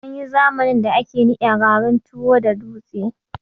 Anyi zamanin da ake niƴa garin tuwo da dutse